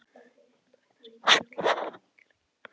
Hitaveita Reykjavíkur taka við einkaleyfi Hitaveitu